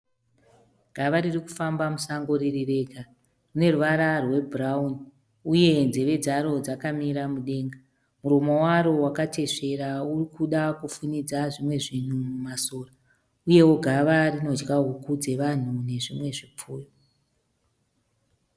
Gava ririkufamba musango ririrega. Rineruvara rwebhurawuni, uye nzeve dzaro dzakamira mudenga. Muromo waro wakateswera urikuda kufunidza zvimwe zvinhu mumasora, uyewo gava rinodya huku dzevanhu nezvimwe zvipfuyo.